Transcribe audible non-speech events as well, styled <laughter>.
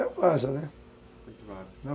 É, <unintelligible> né? <unintelligible>